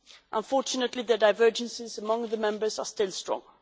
Unfortunately, the divergences among the members are still strong.